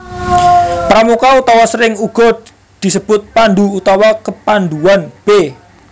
Pramuka utawa sering uga disebut pandhu utawa kepandhuan b